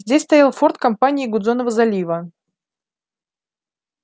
здесь стоял форт компании гудзонова залива